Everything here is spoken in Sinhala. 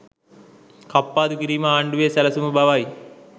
කප්පාදු කිරීම ආණ්ඩුවේ සැලසුම බවයි